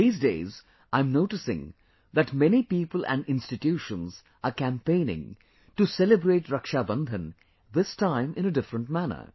These days, I am noticing that many people and institutions are campaigning to celebrate Rakshabandhan this time in a different manner